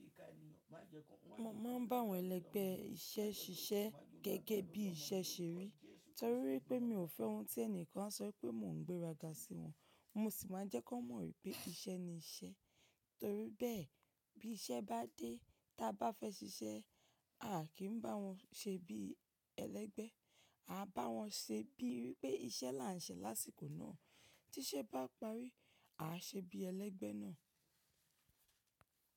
Mo máa ń bá wọn ẹlẹgbẹ́ iṣẹ́ ṣiṣẹ́ gẹ́gẹ́ bí iṣẹ́ ṣe rí torí pé mi ò fẹ́ ohun tí ẹni kan á sọ pé mò ń gbéra ga sí wọn. Mo sì máa jẹ́ kí wọ́n mọ̀ wípé iṣẹ́ ni iṣẹ́ torí bẹ́ẹ̀ bí iṣẹ́ bá dé tí a bá fẹ́ ṣiṣẹ́ a kì ń bá wọn ṣe bí ẹlẹ́gbẹ́. A bá wọn ṣe bíi wípé iṣẹ́ là ń ṣe lásìkò náà. Tí ṣẹ́ bá parí a á ṣe bí ẹlẹ́gbẹ́ náà.